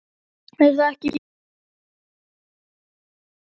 Er það ekki mjög áhugavert og þroskandi starf?